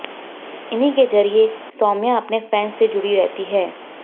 इन्हीं के जरिए सौम्या अपने फैंस से जुड़ी रहती हैं